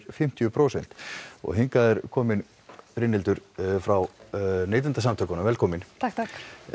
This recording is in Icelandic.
fimmtíu prósent hingað er komin Brynhildur frá Neytendasamtökunum velkomin takk takk